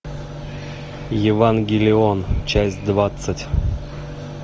евангелион часть двадцать